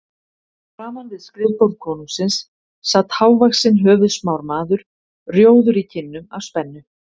Framan við skrifborð konungsins sat hávaxinn höfuðsmár maður, rjóður í kinnum af spennu.